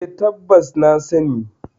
E, tabbas na sani.